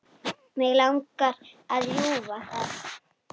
Mig langar að rjúfa það.